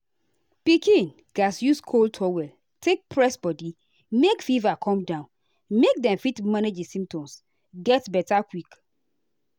pikin gatz use cold towel take press body make fever come down make dem fit manage di symptoms get beta quick.